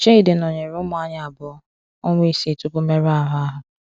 Chidi nọnyere ụmụ anyị abụọ, ọnwa isii tupu mmerụ ahụ ahụ.